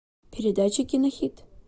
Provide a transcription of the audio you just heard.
передача кинохит